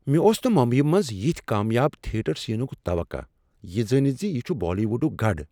مےٚ اوس نہٕ ممبیی منٛز یتھۍ کامیاب تھیٹر سینک توقع یہ زٲنتھ ز یہ چھ بالی ووڈک گڑ۔